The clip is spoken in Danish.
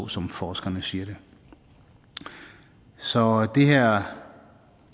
som forskerne siger det så det her